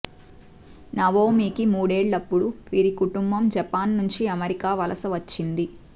నవోమీకి మూడేళ్లపుడు వీరి కుటుంబం జపాన్ నుంచి అమెరికా వలస వచ్చింది